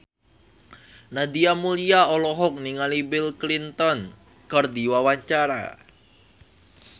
Nadia Mulya olohok ningali Bill Clinton keur diwawancara